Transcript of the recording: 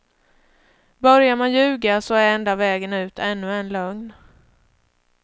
Börjar man ljuga så är enda vägen ut ännu en lögn.